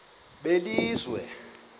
belizwe